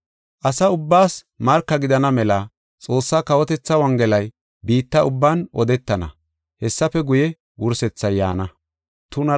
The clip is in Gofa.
Asa ubbaas marka gidana mela Xoossaa kawotethaa Wongelay biitta ubban odetana. Hessafe guye, wursethay yaana.